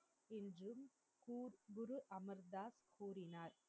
என்றும் கூர் குருஅமீர்தாஸ் கூறினார்